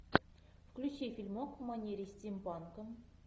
включи фильмок в манере стимпанка